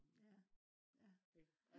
ja ja